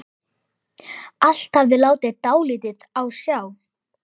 Allt hafði látið dálítið á sjá.